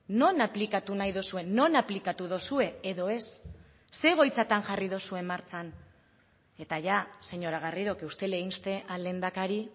non aplikatu nahi duzue non aplikatu duzue edo ez ze egoitzatan jarri duzue martxan eta ja señora garrido que usted le inste al lehendakari